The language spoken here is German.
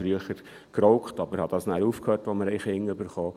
Früher habe ich geraucht, habe aber damit aufgehört, als wir Kinder bekamen.